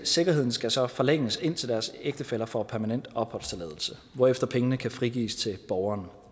sikkerheden skal så forlænges indtil deres ægtefælle får permanent opholdstilladelse hvorefter pengene kan frigives til borgeren